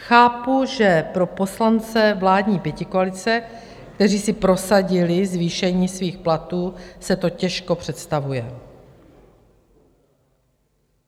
Chápu, že pro poslance vládní pětikoalice, kteří si prosadili zvýšení svých platů, se to těžko představuje.